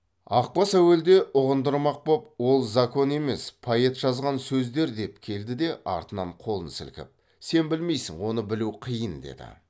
ақбас әуелде ұғындырмақ боп ол закон емес поэт жазған сөздер деп келді де артынан қолын сілкіп сен білмейсің оны білу қиын деді